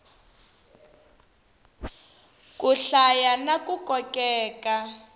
ku hlaya na ku kokeka